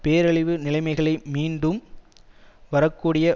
பேரழிவு நிலைமைகளை மீண்டும் வரக்கூடிய